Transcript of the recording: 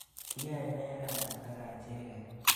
Kiyae nee rani ak achege?